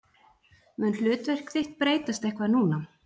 Mun hlutverk þitt breytast eitthvað núna?